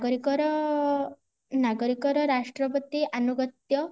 ନାଗରିକର ନାଗରିକର ରାଷ୍ଟ୍ର ପ୍ରତି ଆନୁଗତ୍ୟ